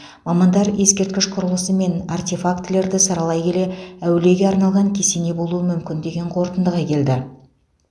мамандар ескерткіш құрылысы мен артефактілерді саралай келе әулиеге арналған кесене болуы мүмкін деген қорытындыға келді